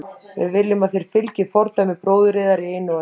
Við viljum að þér fylgið fordæmi bróður yðar í einu og öllu.